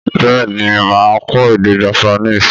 Bẹ́ẹ̀ ni, mà á kọ́ èdè Japanese.